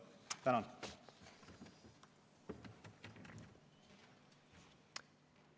Tänan!